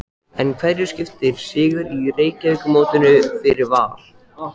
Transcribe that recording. En hverju skiptir sigur í Reykjavíkurmótinu fyrir Val?